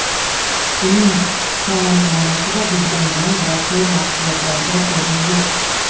Uning taomnomasida dudlangan va sho‘r mahsulotlarga o‘rin yo‘q.